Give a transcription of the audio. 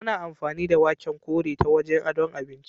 Ana amfani da waken ƙore ta wajen adon abinci.